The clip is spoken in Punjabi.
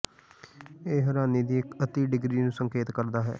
ਇਹ ਹੈਰਾਨੀ ਦੀ ਇੱਕ ਅਤਿ ਡਿਗਰੀ ਨੂੰ ਸੰਕੇਤ ਕਰਦਾ ਹੈ